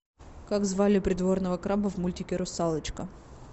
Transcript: как звали придворного краба в мультике русалочка